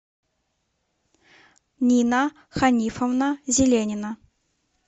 нина ханифовна зеленина